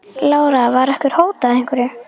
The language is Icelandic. Lára: Var ykkur hótað einhverju?